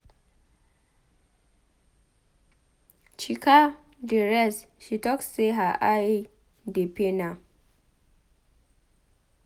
Chika dey rest she talk say her eye dey pain am.